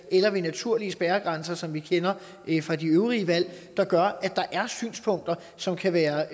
eller de naturlige spærregrænser som vi kender det fra de øvrige valg der gør at der er synspunkter som kan være